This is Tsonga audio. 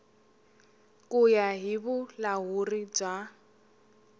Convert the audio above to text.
ku ya hi vulahuri bya